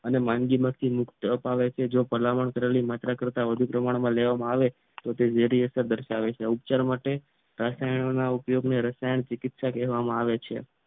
અને માંદગીમાંથી મુક્ત અપાવેશે જો ભલામણ કરેલી માત્રા કરતાં વધુ પ્રમાણમાં લેવામાં આવે તો તે ઝેરી અસર દર્શાવે છે. ઉપચાર માટે રસાયણોના ઉપયોગ અને રસાયણ ચિકીત્સા કહેવામાં આવે છે